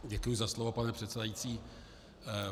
Děkuji za slovo, pane předsedající.